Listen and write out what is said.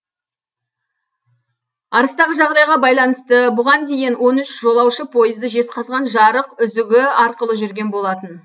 арыстағы жағдайға байланысты бұған дейін он үш жолаушы пойызы жезқазған жарық үзігі арқылы жүрген болатын